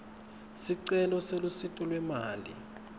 sicelo selusito lwemali